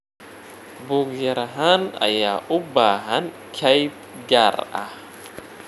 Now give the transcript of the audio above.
Buug-yarahaan ayaa u baahan kayd gaar ah.